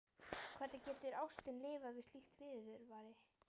Hvernig getur ástin lifað við slíkt viðurværi?